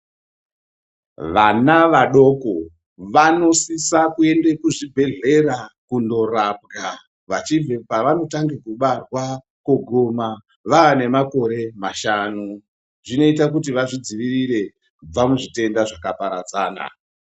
Vana vadoko vanosisa kuenda kuzvibhedhlera kundorapwa vachibve pavanotanga kubarwa kuguma vane makore mashanu. Zvinota kuti vazvidzivirire kubva kuzvitenda zvaka paradzana.